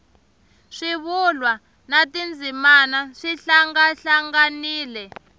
swivulwa na tindzimana swi hlangahlanganile